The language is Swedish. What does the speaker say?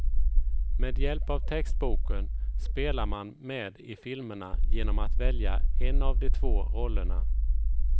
Med hjälp av textboken spelar man med i filmerna genom att välja en av de två rollerna.